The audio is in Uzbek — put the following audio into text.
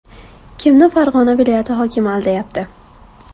Kimni Farg‘ona viloyati hokimi aldayapti ?